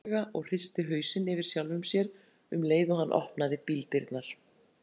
Hann blés mæðulega og hristi hausinn yfir sjálfum sér um leið og hann opnaði bíldyrnar.